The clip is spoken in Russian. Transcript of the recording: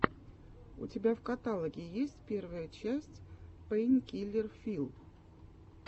у тебя в каталоге есть первая часть пэйнкиллер филл